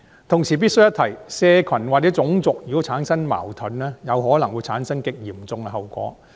同時，我必須一提，社群或種族如果產生矛盾，有可能會產生極嚴重的後果。